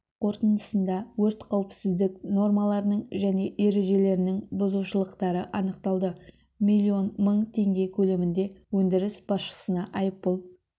қорытындысында өрт қауіпсіздік нормаларының және ережелерінің бұзушылықтары анықталды миллион мың тенге көлемінде өндіріс басшысына айыппұл